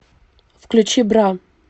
включи бра